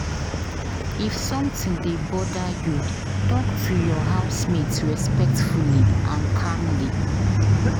If something dey bother you, talk to your housemate respectfully and calmly.